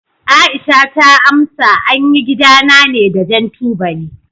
Aisha ta amsa, an yi gidana ne da jan tubali.